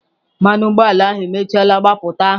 Mmanụ ụgbọala ahụ emechiela mgbapụta ahụ.